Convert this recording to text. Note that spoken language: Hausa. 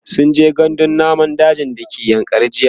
sunje gandun namun daji da ke yankari jiya